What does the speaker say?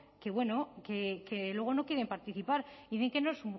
que luego no quieren participar y dicen que no es